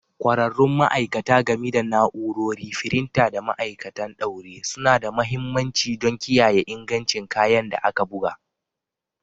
ƙwararrun ma'aikata, gami da na'urori, firinta, da ma'aikatan ɗaure, suna da mahimmanci don kiyaye ingancin kayan da aka buga.